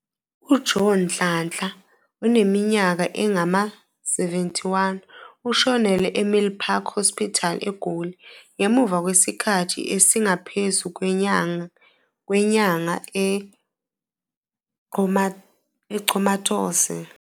UJoe Nhlanhla, oneminyaka engama-71, ushonele eMilpark Hospital eGoli, ngemuva kwesikhathi esingaphezu kwenyanga e-comatose.